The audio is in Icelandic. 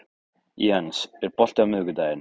Jens, er bolti á miðvikudaginn?